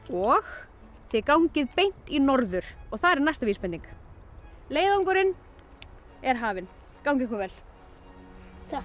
og þið gangið beint í norður þar er næsta vísbending leiðangurinn er hafinn gangi ykkur vel takk